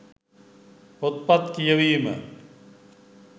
පොත්පත් කියවීම.